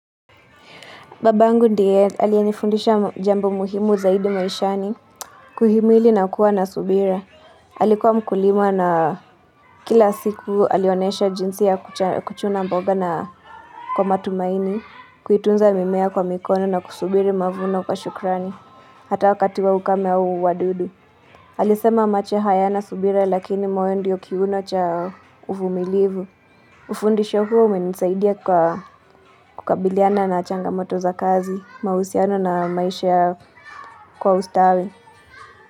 Babangu ndiye alianifundisha jambo muhimu zaidi maishani Kuhimili na kuwa na subira Alikuwa mkulima na kila siku alionesha jinsi ya kuchuna mboga na kwa matumaini Kuitunza mimea kwa mikono na kusubiri mavuno kwa shukrani Hata wakati wa ukame au wadudu alisema macho hayana subira lakini moyo ndio kiuno cha uvumilifu Ufundisho huo umenisaidia kwa kukabiliana na changamoto za kazi mausiano na maisha kwa ustawi.